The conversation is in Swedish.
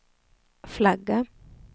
flagga